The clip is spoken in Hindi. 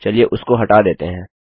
चलिए उसको हटा देते हैं